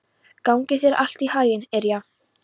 Gangi þér allt í haginn, Irja.